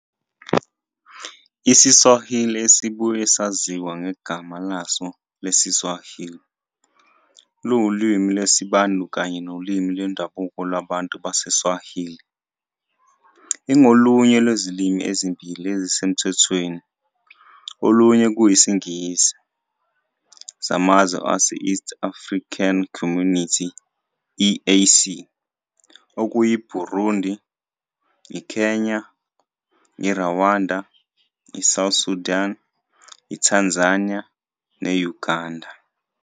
IsiSwahili, esibuye saziwa ngegama laso lesiSwahili, siwulimi lwesiBantu kanye nolimi lwendabuko lwabantu baseSwahili. Ingolunye lwezilimi ezimbili ezisemthethweni, olunye kuyisiNgisi, zamazwe ase-East African Community, EAC, okuyiBurundi, iKenya, iRwanda, iSouth Sudan, iTanzania ne-Uganda.